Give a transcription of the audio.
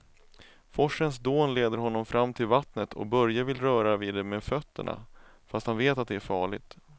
Forsens dån leder honom fram till vattnet och Börje vill röra vid det med fötterna, fast han vet att det är farligt.